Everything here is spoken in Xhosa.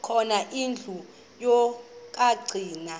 khona indlu yokagcina